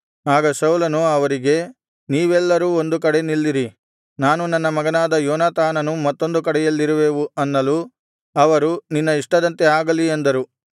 ಆಗ ಸೌಲನು ಅವರಿಗೆ ನೀವೆಲ್ಲರೂ ಒಂದು ಕಡೆ ನಿಲ್ಲಿರಿ ನಾನೂ ನನ್ನ ಮಗನಾದ ಯೋನಾತಾನನೂ ಮತ್ತೊಂದು ಕಡೆಯಲ್ಲಿರುವೆವು ಅನ್ನಲು ಅವರು ನಿನ್ನ ಇಷ್ಟದಂತೆ ಆಗಲಿ ಅಂದರು